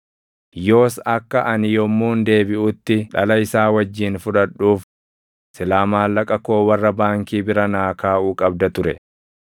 Yoos akka ani yommuun deebiʼutti dhala isaa wajjin fudhadhuuf silaa maallaqa koo warra baankii bira naa kaaʼuu qabda ture.